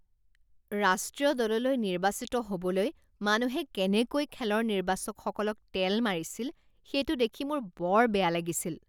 ৰাষ্ট্ৰীয় দললৈ নিৰ্বাচিত হ'বলৈ মানুহে কেনেকৈ খেলৰ নিৰ্বাচকসকলক তেল মাৰিছিল সেইটো দেখি মোৰ বৰ বেয়া লাগিছিল